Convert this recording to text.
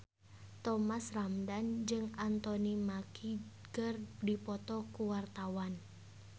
Thomas Ramdhan jeung Anthony Mackie keur dipoto ku wartawan